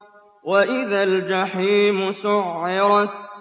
وَإِذَا الْجَحِيمُ سُعِّرَتْ